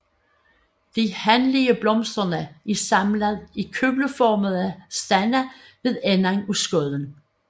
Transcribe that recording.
De hanlige blomster er samlet i kugleformede stande ved enden af skuddene